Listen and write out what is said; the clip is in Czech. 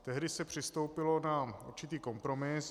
Tehdy se přistoupilo na určitý kompromis.